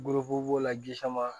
b'o la ji sama